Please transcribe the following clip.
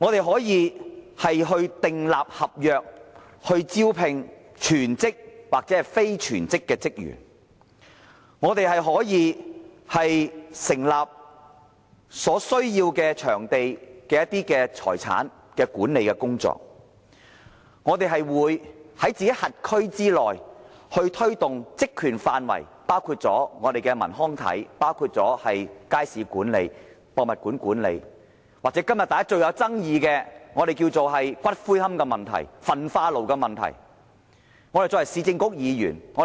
市政局可以就招聘全職或非全職的職員訂立合約，可以執行成立所需場地的財產的管理工作，可以在其轄區內推動其職權範圍內，包括文康體、街市管理、博物館管理的工作，又或是今天最具爭議的骨灰龕、焚化爐等問題。